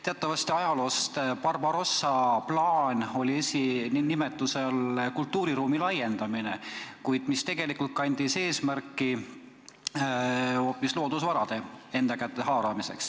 Teatavasti oli ajaloost tuntud Barbarossa plaani formaalne eesmärk "kultuuriruumi laiendamine", kuid tegelikult kandis see eesmärki hoopis loodusvarasid enda kätte haarata.